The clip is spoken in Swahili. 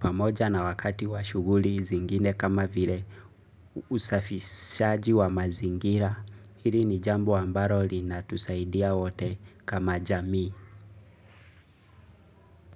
Pamoja na wakati wa shuguli zingine kama vile usafishaji wa mazingira. Hili ni jambo ambalo linatusaidia wote kama jamii.